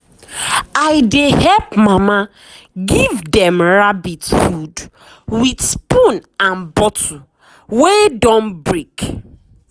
i dey help mama give dem rabbit food with spoon and bottle wey don break.